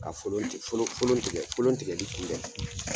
Ka folon tigɛ folon folon folon fofon tigɛli kun bɛn